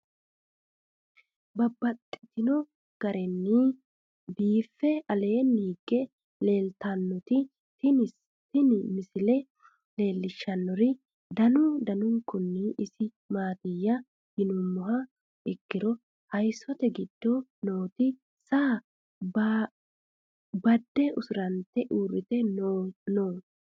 Babaxxittinno garinni biiffe aleenni hige leelittannotti tinni misile lelishshanori danu danunkunni isi maattiya yinummoha ikkiro hayiissote giddo nootti saa badde usurantte uuritte noo.